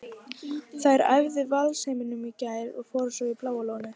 Þær æfðu í Valsheimilinu í gær og fóru svo í Bláa lónið.